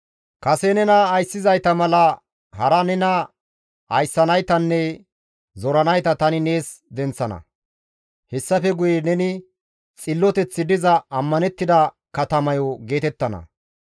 Kase nena ayssizayta mala hara nena ayssanaytanne zoranayta tani nees denththana; hessafe guye neni, ‹Xilloteththi diza ammanettida katamayo› geetettana.